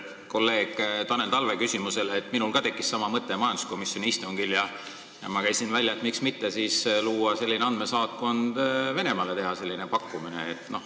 Kolleeg Tanel Talve küsimusele võin lisada, et ka minul tekkis majanduskomisjoni istungil sama mõte ja ma käisin välja, et miks mitte luua andmesaatkond ja teha Venemaale selline pakkumine.